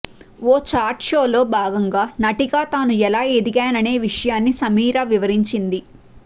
ఓ chat షోలో భాగంగా నటిగా తాను ఎలా ఎదిగాననే విషయాన్ని సమీరా వివరించింది